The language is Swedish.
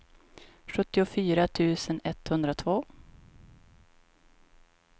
sjuttiofyra tusen etthundratvå